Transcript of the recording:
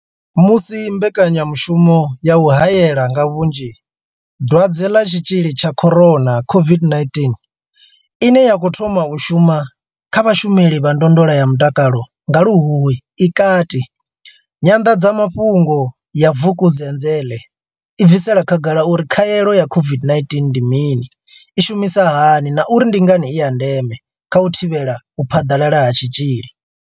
Musi mbekanyamushumo ya u hae la nga vhunzhi Dwadze ḽa Tshitzhili tsha corona COVID-19 ine ya khou thoma u shuma kha vhashumeli vha ndondolo ya mutakalo nga luhuhi i kati, Nyanḓadzamafhungo ya Vukuzenzele i bvisela khagala uri khaelo ya COVID-19 ndi mini, i shumisa hani na uri ndi ngani i ya ndeme kha u thivhela u phaḓalala ha tshitzhili.